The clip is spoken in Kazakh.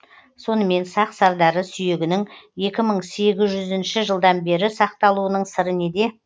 сонымен сақ сардары сүйегінің екі мың сегіз жүз жылдан бері сақталуының сыры неде